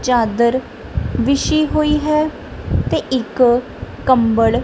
ਚਾਦਰ ਵਿਛੀ ਹੋਈ ਹੈ ਤੇ ਇੱਕ ਕੰਬਲ--